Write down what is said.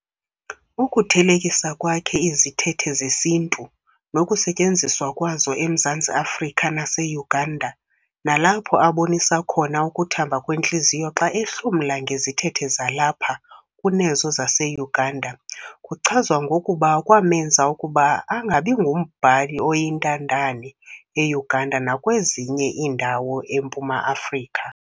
Ukuthelekisa kwakhe izithethe zesiNtu nokusetyenziswa kwazo eMzantsi Afrika naseUganda, nalapho abonisa khona ukuthamba kwentliziyo xa ehlomla ngezithethe zalapha kunezo zaseUganda, kuchazwa ngokuba kwamenza ukuba angabingumbhali oyintandane eUganda nakwezinye iindawo eMpuma Afrika.